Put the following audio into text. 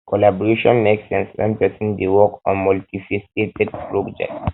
collaboration make sense when person dey work on multi faceted project um